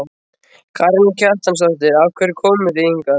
Karen Kjartansdóttir: Af hverju komuð þið hingað?